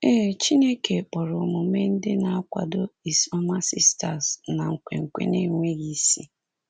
Ee, Chineke kpọrọ omume ndị na-akwado is ọma sisters na nkwenkwe na-enweghị isi.